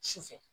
Su fɛ